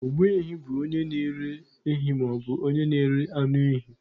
Ogbu ehi bụ onye na-ere ehi maọbụ onye na-ere anụ ehi.